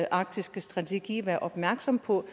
arktiske strategi være opmærksom på